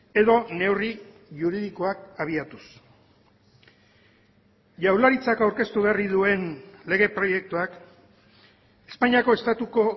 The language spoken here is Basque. edo neurri juridikoak abiatuz jaurlaritzak aurkeztu berri duen lege proiektuak espainiako estatuko